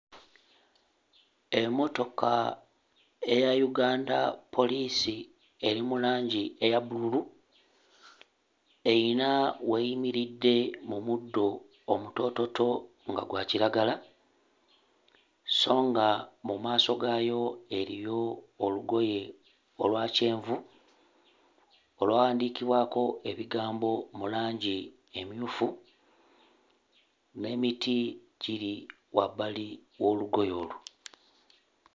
Emmotoka eya Uganda poliisi eri mu langi eya bbululu, eyina w'eyimiridde mu muddo omutoototo nga gwa kiragala so nga mu maaso gaayo eriyo olugoye olwa kyenvu olwawandiikibwako ebigambo mu langi emmyufu n'emiti giri wabbali w'olugoye olwo.